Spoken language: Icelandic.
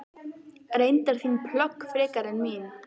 Reyndar þín plögg frekar en mín.